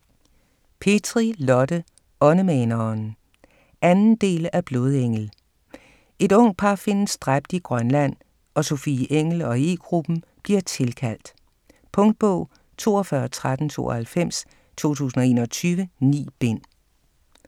Petri, Lotte: Åndemaneren 2. del af Blodengel. Et ungt par findes dræbt i Grønland og Sofie Engell og E-gruppen bliver tilkaldt. Punktbog 421392 2021. 9 bind.